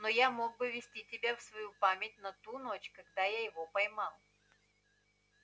но я мог бы ввести тебя в свою память на ту ночь когда я его поймал